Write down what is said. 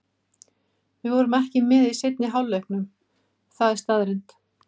Við vorum ekki með í seinni hálfleiknum, það er staðreynd.